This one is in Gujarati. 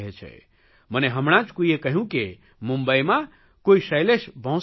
મને હમણાં જ કોઇએ કહ્યું કે મુંબઇમાં કોઇ શૈલેષ ભોંસલે છે